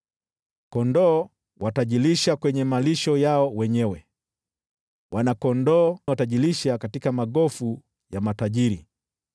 Kondoo watajilisha kwenye malisho yao wenyewe, wana-kondoo watajilisha katika magofu ya matajiri.